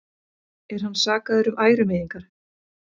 Er hann sakaður um ærumeiðingar